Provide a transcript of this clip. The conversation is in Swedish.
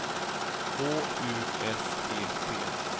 H U S E T